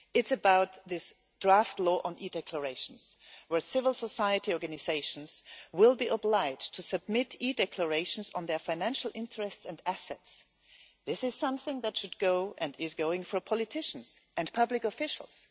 It is about the draft law on e-declarations, where civil society organisations will be obliged to submit e-declarations on their financial interests and assets. This is something that should go, and is going, for politicians and public officials.